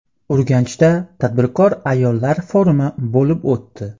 Urganchda tadbirkor ayollar forumi bo‘lib o‘tdi.